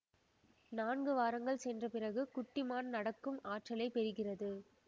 நான்கு வாரங்கள் சென்ற பிறகு குட்டி மான் நடக்கும் ஆற்றலை பெறுகிறது